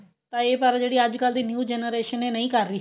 ਤਾਂ ਇਹ ਸਾਰਾ ਜਿਹੜੀ ਅੱਜਕਲ ਦੀ new generation ਇਹ ਨਹੀ ਕਰ ਰਹੀ